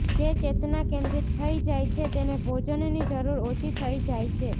જે ચેતના કેન્દ્રિત થઈ જાય છે તેને ભોજનની જરૂર ઓછી થઈ જાય છે